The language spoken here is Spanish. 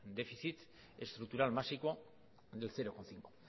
déficit estructural máximo del cero coma cinco